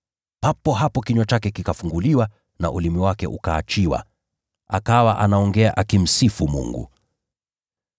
Papo hapo kinywa chake kikafunguliwa na ulimi wake ukaachiwa, akawa anaongea akimsifu Mungu.